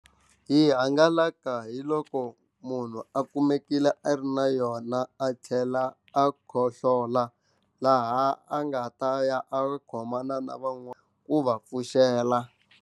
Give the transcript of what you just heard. Yi hangalaka hi loko munhu a kumekile a ri na yona a tlhela a khohlola laha a nga ta ya a ri khomana na ku va pfuxela.